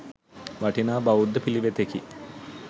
වටිනා බෞද්ධ පිළිවෙතකි.